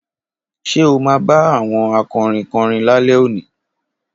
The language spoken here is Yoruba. Ṣe ọ ma ba àwọn akọrin korin lálé òní